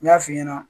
N y'a f'i ɲɛna